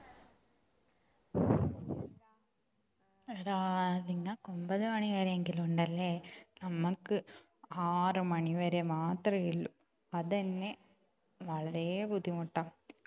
എടാ നിങ്ങൾക്ക് ഒമ്പത് മണി വരെ എങ്കിലും ഉണ്ടല്ലേ നമ്മക്ക് ആറു മണി വരെ മാത്രേ ഉള്ളൂ അത് തന്നെ വളരെ ബുദ്ധിമുട്ടാ